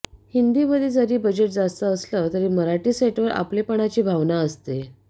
हिंदीमध्ये जरी बजेट जास्त असलं तरी मराठी सेटवर आपलेपणाची भावना असते